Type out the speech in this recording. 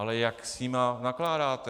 Ale jak s nimi nakládáte?